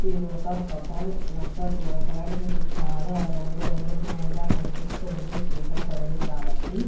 ఇది ఒక హోటల్ . ఇది అంతా చూడడానికి చాలా రంగురంగుల మాయంగా కనిపిస్తూవుంది చీకటి పడింది కాబట్టి.